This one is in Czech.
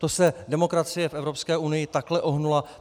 To se demokracie v Evropské unii takhle ohnula?